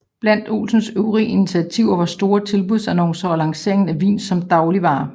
Blandt Olsens øvrige initiativer var store tilbudsannoncer og lanceringen af vin som dagligvare